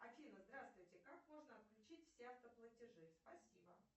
афина здравствуйте как можно отключить все автоплатежи спасибо